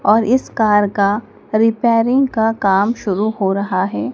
और इस कार का रिपेयरिंग का काम शुरू हो रहा है।